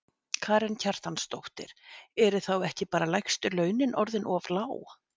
Karen Kjartansdóttir: En eru þá ekki bara lægstu launin orðin of lág?